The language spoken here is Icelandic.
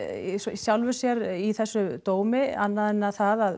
í sjálfu sér í þessum dómi annað en það að